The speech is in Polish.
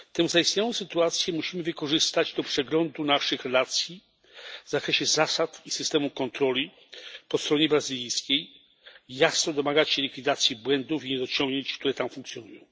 Zaistniałą sytuację musimy wykorzystać do przeglądu naszych relacji w zakresie zasad i systemu kontroli po stronie brazylijskiej i jasno domagać się likwidacji błędów i niedociągnięć, które tam występują.